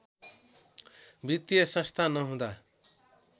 वित्तिय संस्था नहुँदा